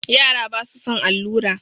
Yara basu son allura.